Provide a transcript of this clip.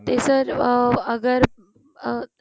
ਤੇ sir ਆਹ ਅਗ਼ਰ ਅਹ